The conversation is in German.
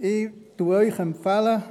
Ich empfehle Ihnen: